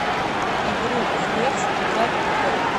игру хревс играть в